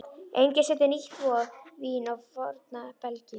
Enginn setur nýtt vín á forna belgi.